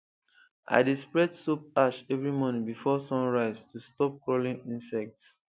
i dey spread soap ash every morning before sun rise to stop crawling insects